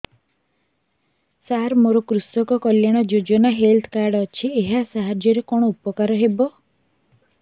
ସାର ମୋର କୃଷକ କଲ୍ୟାଣ ଯୋଜନା ହେଲ୍ଥ କାର୍ଡ ଅଛି ଏହା ସାହାଯ୍ୟ ରେ କଣ ଉପକାର ହବ